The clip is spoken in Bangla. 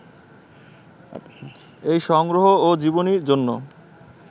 এই সংগ্রহ ও জীবনী জন্য